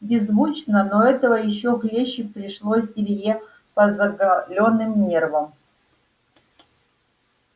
беззвучно но этого ещё хлеще пришлось илье по заголённым нервам